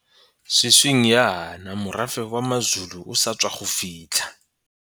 Sešweng jaana morafe wa maZulu o sa tswa go fitlha.